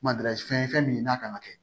Mada fɛn fɛn min n'a kan ka kɛ